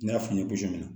N y'a f'i ɲɛna ko jɔn